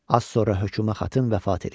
Az sonra Höküma xatın vəfat eləyir.